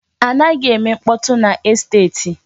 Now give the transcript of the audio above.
A naghi eme mkpọtụ n'esteti.